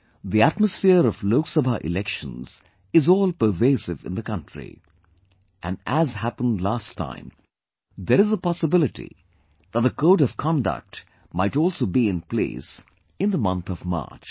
The atmosphere of Lok Sabha elections is all pervasive in the country and as happened last time, there is a possibility that the code of conduct might also be in place in the month of March